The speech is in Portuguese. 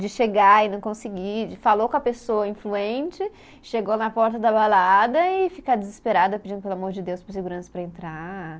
De chegar e não conseguir, de falou com a pessoa influente, chegou na porta da balada e fica desesperada pedindo, pelo amor de Deus, para o segurança para entrar.